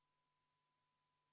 Palun võtta seisukoht ja hääletada!